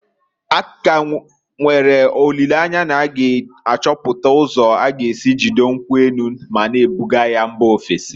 A ka nwere olileanya na a ga achọpụta ụzọ a g'esi jidoo nkwu enu, ma na ebuga ya mba ofesi.